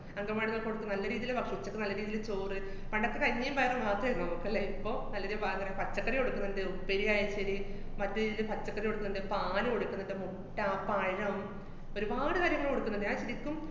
അംഗന്‍വാടീല് കൊടുക്കും, നല്ല രീതീല് ഭക്ഷ~ ഉച്ചയ്ക്ക് നല്ല രീതീല് ചോറ്, പണ്ടൊക്കെ കഞ്ഞീം പയറും മാത്രേയിരുന്നു മ്മക്ക് ല്ലേ, ഇപ്പോ നല്ലൊരു പാങ്ങനെ പച്ചക്കറി കൊടുക്ക്ന്ന്ണ്ട്, ഉപ്പേരി ആയാലും ശരി, മറ്റു രീതീല് പച്ചക്കറി കൊടുക്ക്ന്ന്ണ്ട്, പാല് കൊടുക്കണ്ണ്ട്, മുട്ട, പഴം ഒരുപാട് കാര്യങ്ങള് കൊടുക്ക്ന്ന്ണ്ട്. ഞാന്‍ ശെരിക്കും